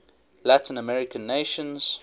latin american nations